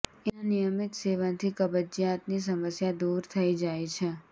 એના નિયમિત સેવનથી કબ્જિયાતની સમસ્યા દૂર થઈ જાય છે